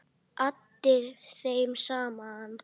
Atti þeim saman.